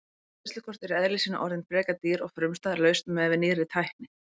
Greiðslukort eru í eðli sínu orðin frekar dýr og frumstæð lausn miðað við nýrri tækni.